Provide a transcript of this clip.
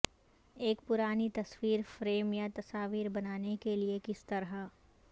ایک پرانی تصویر فریم یا تصاویر بنانے کے لئے کس طرح